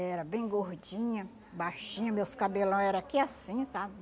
Era bem gordinha, baixinha, meus cabelão era aqui assim, sabe?